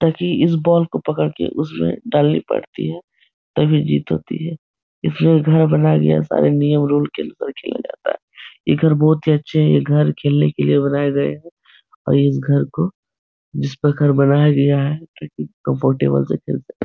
ताकि इस बॉल को पकड़ कर उसमें डालनी पड़ती है तभी जीत होती है। इसलिए घर बनाया गया सारे नियम रूल्स के अनुसार खेलते हैं। ये घर बहुत ही अच्छे हैं। ये घर खेलने के लिए बनाये गये हैं और इस घर को जिस प्रकार बनाया गया है ताकि कम्फरटेबल से खेल सके।